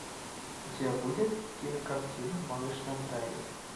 у тебя будет кинокартина малыш на драйве